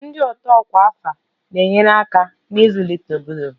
Ndị otu ọkwa afọ na-enyere aka n'ịzụlite obodo